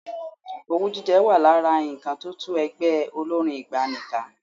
Owú jíjẹ wà lára nǹkan tó tú ẹgbẹ́ olórín ìgbàanì ká.